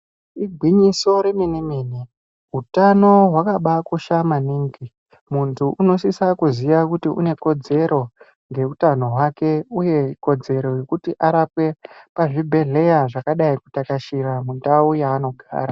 Igwinyiso remene-mene hutano hwakaba kosha maningi muntu unosisa kuziya kuti anekudzero yeutano hwake uye kodzero yekuti arapwe pazvibhedhlera zvakadai kutakashira mundau yaanogara.